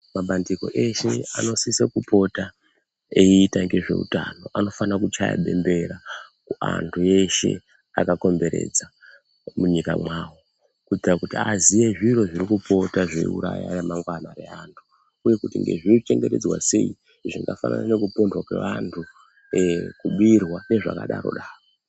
Mabandiko eshe anosisa kupota eiita ngezveutano anofana kuchaya bembera kuantu eshe akakomberedza munyika mwawo kuitira kuti aziye zviro zvirikupota zveiuraya remangwana reantu uye kuti zvinochengetdzwa sei zvakafanana nekupondwa kweantu, kubirwa nezvakadaro daro.